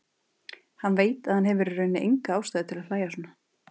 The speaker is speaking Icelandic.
Hann veit að hann hefur í rauninni enga ástæðu til að hlæja svona.